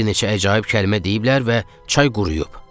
Bir neçə əcaib kəlmə deyiblər və çay quruyub.